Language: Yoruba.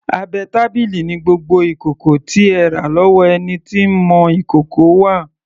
Abẹ́ tábìlì ni gbogbo ìkòkò tí ẹ rà lọ́wọ́ ẹni tí ń mọ ìkòkò wà.